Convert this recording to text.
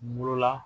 Bolola